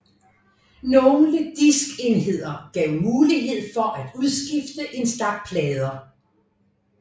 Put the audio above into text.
Nogle diskenheder gav mulighed for at udskifte en stak plader